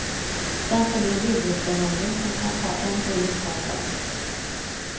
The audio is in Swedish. Sedan följer huvudförhandling, som kan ta en eller ett par dagar.